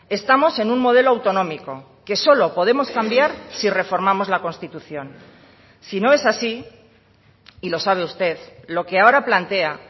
estamos en un modelo autonómico que solo podemos cambiar si reformamos la constitución si no es así y lo sabe usted lo que ahora plantea